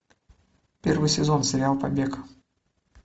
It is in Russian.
первый сезон сериал побег